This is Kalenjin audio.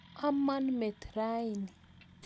Amon met raini.